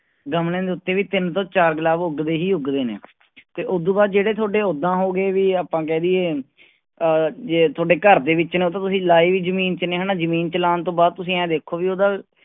ਗਮਲਿਆਂ ਦੇ ਉੱਤੇ ਵੀ ਤਿੰਨ ਤੋਂ ਚਾਰ ਗੁਲਾਬ ਉਗਦੇ ਹੀ ਉਗਦੇ ਨੇ ਤੇ ਉਦੂ ਬਾਅਦ ਜਿਹੜੇ ਤੁਹਾਡੇ ਓਦਾਂ ਹੋ ਗਏ ਵੀ ਆਪਾਂ ਕਹਿ ਦੇਈਏ ਅਹ ਜੇ ਤੁਹਾਡੇ ਘਰ ਦੇ ਵਿੱਚ ਨੇ ਉਹ ਤਾਂ ਤੁਸੀਂ ਲਾਏ ਜ਼ਮੀਨ ਚ ਨੇ ਹਨਾ ਜ਼ਮੀਨ ਚ ਲਾਉਣ ਤੋਂ ਬਾਅਦ ਤੁਸੀਂ ਇਉਂ ਦੇਖੋ ਵੀ ਉਹਦਾ